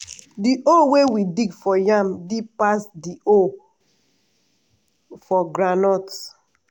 di hole wey we dig for yam deep pass di hole for groundnut.